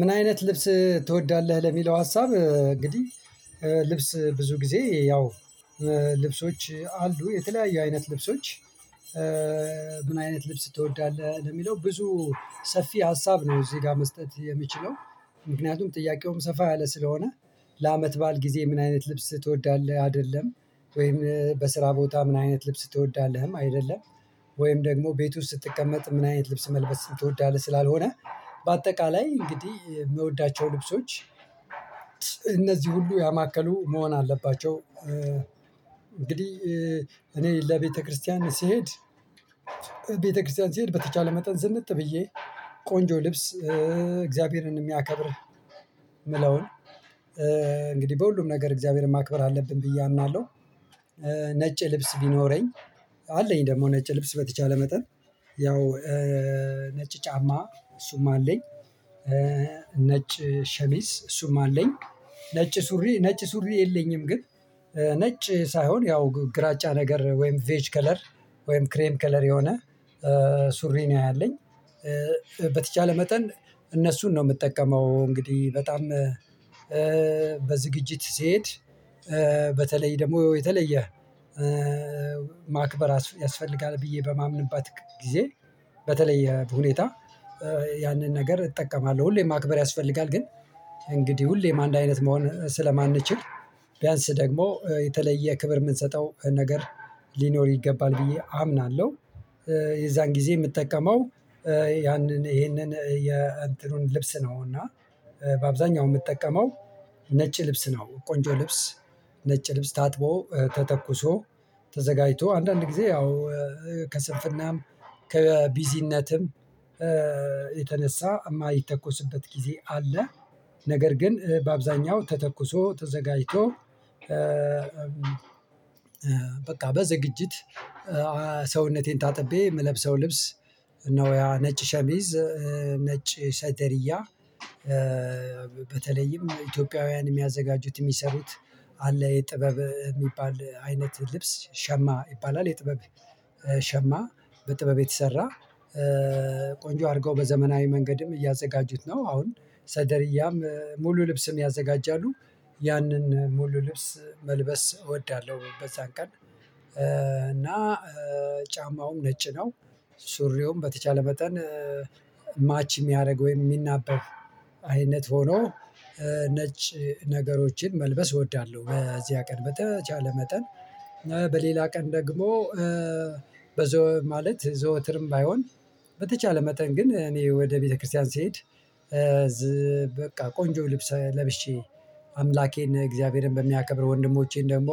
ምን አይነት ልብስ ትወዳለህ? ለሚለው ሀሳብ እንግዲህ ልብስ ብዙ ጊዜ ያው ልብሶች አሉ የተለያየ አይነት ልብሶች። ምን አይነት ልብስ ትወዳለህ? ለሚለው ብዙ ሰፊ ሀሳብ ነው እዚህ ጋር መስጠት የምችለው። ምክንያቱም ጥያቄውም ሰፋ ያለ ስለሆነ ለአመት ባል ጊዜ ምን አይነት ልብስ ትወዳለህ አይደለም ወይም በስራ ቦታ ምን አይነት ልብስ ትወዳለህም አይደለም ወይም ደግሞ ቤት ውስጥ ስትቀመጥ ምን አይነት ልብስ መልበስ ስትወዳለህ ስላልሆነ በአጠቃላይ እንግዲህ የምወዳቸው ልብሶች እነዚህን ሁሉ ያማከሉ መሆን አለባቸው። እኔ ለቤተክርስቲያን ስሄድ ቤተክርስቲያን ስሄድ በተቻለ መጠን ዝንጥ ብዬ ቆንጆ ልብስ እግዚአብሔርን የሚያከብር የምለውን እንግዲህ በሁሉም ነገር እግዚአብሔርን ማክበር አለብን ብዬ አምናለሁ። ነጭ ልብስ ቢኖረኝ አለኝ ደግሞ ነጭ ልብስ በተቻለ መጠን ያው ነጭ ጫማ እሱም አለኝ። ነጭ ሸሚዝ እሱም አለኝ ነጭ ሱሪ ነጭ ሱሪ የለኝም። ግን ነጭ ሳይሆን ያው ግራጫ ነገር ወይም ቬጅ ከለር ወይም ክሬም ከለር የሆነ ሱሪ ነው ያለኝ። በተቻለ መጠን እነሱን ነው የምጠቀመው እንግዲህ በጣም በዝግጅት ስሄድ በተለይደግሞ የተለየ ማክበር ያስፈልጋል ብየ በማምንበት ጊዜ በተለየ ሁኔታ ያንን ነገር እጠቀማለሁ። ሁሌም ማክበር ያስፈልጋል ግን እንግዲህ ሁሌም አንድ አይነት መሆን ስለማንችል ቢያንስ ደግሞ የተለየ ክብር የምንሰጠው ነገር ሊኖር ይገባል ብየ አምናለሁ። የዛን ጊዜ የምጠቀመው ያንን ይሄንን የእንትኑን ልብስ ነው እና በአብዛኛው የምትጠቀመው ነጭ ልብስ ነው። ቆንጆ ልብስ ነጭ ልብስ ታጥቦ ተተኩሶ ተዘጋጅቶ አንዳንድ ጊዜ ያው ከስንፍናም ከቢዚነትም የተነሳ የማይተኮስበት ጊዜ አለ። ነገር ግን በአብዛኛው ተተኩሶ ተዘጋጅቶ በቃ በዝግጅት ሰውነቴን ታጥቤ የምለብሰው ልብስ እነሆ ያ ነጭ ሸሚዝ። ነጭ ሰደርያ በተለይም ኢትዮጵያውያን የሚያዘጋጁት የሚሰሩት አለ ጥበብ የሚባል አይነት ልብስ ሸማ ይባላል። የጥበብ ሸማ በጥበብ የተሰራ ቆንጆ አድርገው በዘመናዊ መንገድም እያዘጋጁት ነው አሁን ሰደርያም ሙሉ ልብስም ያዘጋጃሉ ያንን ሙሉ ልብስ መልበስ እወዳለሁ። በዛን ቀን እና ጫማውም ነጭ ነው ሱሪውም በተቻለ መጠን ማች የሚያደርግ ወይም የሚናበብ አይነት ሆኖ ነጭ ነገሮችን መልበስ እወዳለሁ። በዚያ ቀን በተቻለ መጠን በሌላ ቀን ደግሞ ማለት ዘወትርም ባይሆን በተቻለ መጠን ግን እኔ ወደ ቤተክርስቲያን ስሄድ በቃ ቆንጆ ልብስ ለብሼ አምላኬን እግዚአብሔርን በሚያከብር ወንድሞቼን ደግሞ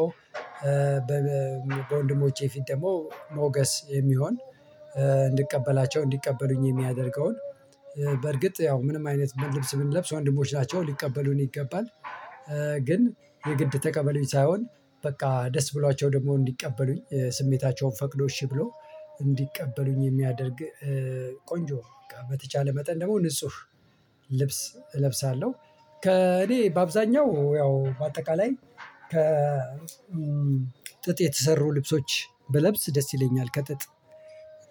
በወንድሞቼ ፊት ደግሞ ሞገስ የሚሆን እንድቀበላቸው እንዲቀበሉኝ የሚያደርገውን በርግጥ ያው ምንም አይነት ልብስ ብንለብስ ወንድሞች ናቸው ሊቀበሉን ይገባል። ግን የግድ ተቀበሉኝ ሳይሆን በቃ ደስ ብሏቸው ደግሞ እንዲቀበሉኝ ስሜታቸውም ፈቅዶ እሺ ብሎ እንዲቀበሉኝ የሚያደርግ ቆንጆ በተቻለ መጠን ደግሞ ንጹህ ልብስ እለብሳለሁ። ከእኔ በአብዛኛው ያው በአጠቃላይ ከ ጥጥ የተሰሩ ልብሶች ብለብስ ደስ ይለኛል ከጥጥ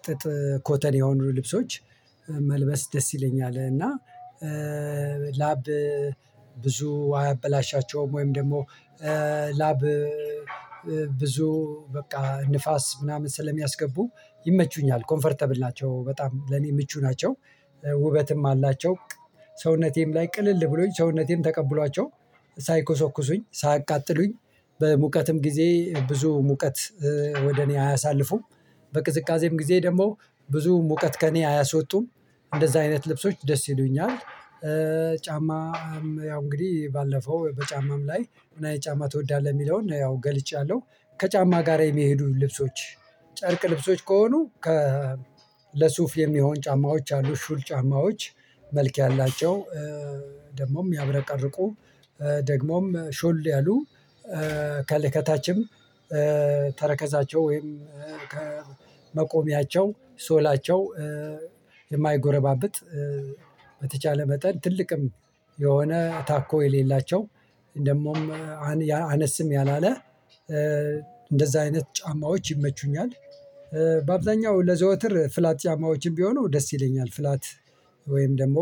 ጥጥ ኮተን የሆኑ ልብሶች መልበስ ደስ ይለኛል እና ላብ ብዙ አያበላሻቸውም ወይም ደግሞ ላብ ብዙ በቃ ንፋስ ምናምን ስለሚያስገቡ ይመቹኛል ኮምፈርተብል ናቸው በጣም ለኔ ምቹ ናቸው። ውበትም አላቸው ሰውነቴም ላይ ቅልል ብሎኝ ሰውነቴም ተቀብሏቸው ሳይኮሰኩሱኝ ሳያቃጥሉኝ በሙቀትም ጊዜ ብዙ ሙቀት ወደ እኔ አያሳልፉም በቅዝቃዜም ጊዜ ደግሞ ብዙ ሙቀት ከእኔ አያሶጡም እንደዛ አይነት ልብሶች ደስ ይሉኛል። ጫማም ያው እንግዲህ ባለፈው በጫማም ላይ መን አይነት ጫማ ትወዳለህ? የሚለውን ያው ገልጫለሁ ከጫማ ጋር የሚሄዱ ልብሶች። ጨርቅ ልብሶች ከሆኑ ከ ለሱፍ የሚሆን ጫማዎች አሉ ሹል ጫማዎች መልክ ያላቸው ደግሞም የሚያብረቀርቁ ደግሞም ሾል ያሉ ከታችም ተረከዛቸው ወይም ከመቆሚያቸው ሶላቸው የማይጎረባብጥ በተቻለ መጠን ትልቅም ሆነ ታኮ የሌላቸው ደግሞም አነስም ያላለ እንደዛ አይነት ጫማዎች ይመቹኛል። በአብዛኛው ለዘወትር ፍላት ጫማዎችም ቢሆኑ ደስ ይለኛል ፍላት ወወይንም ደግሞ